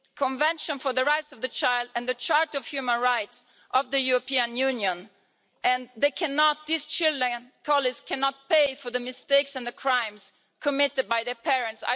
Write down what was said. Convention for the Rights of the Child and the Charter of Human Rights of the European Union. These children cannot pay for the mistakes and the crimes committed by their parents.